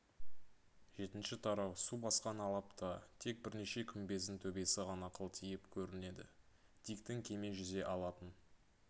жетінші тарау су басқан алапта тек бірнеше күмбездің төбесі ғана қылтиып көрінеді диктің кеме жүзе алатын